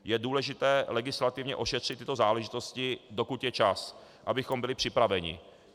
Je důležité legislativně ošetřit tyto záležitosti, dokud je čas, abychom byli připraveni.